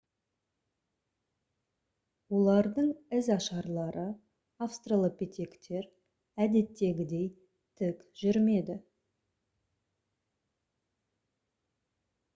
олардың ізашарлары австралопитектер әдеттегідей тік жүрмеді